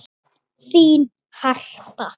Þín Harpa.